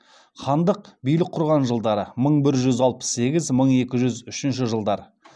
хандық билік құрған жылдары мың бір жүз алпыс сегіз мың екі жүз үшінші жылдары